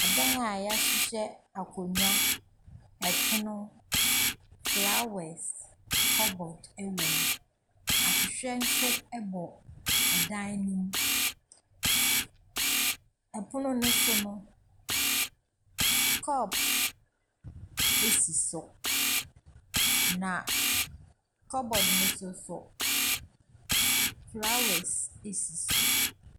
Ɛdan a y'ahyehyɛ akondwa, ɛpono, flawɛs, kɔbɔd, ɛwom. Ahwehwɛ nso ɛbɔ ɛdan no mu. Ɛpono no so no, kɔp esi so, na kɔbod no so nso, flawɛs esi so.